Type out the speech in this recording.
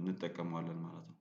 እንጠቀመዋለን ማለት ነው።